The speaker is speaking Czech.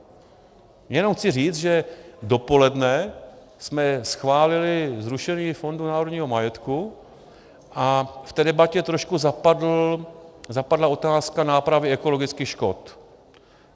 Jenom chci říct, že dopoledne jsme schválili zrušení Fondu národního majetku a v té debatě trošku zapadla otázka nápravy ekologických škod.